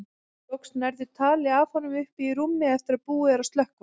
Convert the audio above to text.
Loks nærðu tali af honum uppi í rúmi eftir að búið er að slökkva.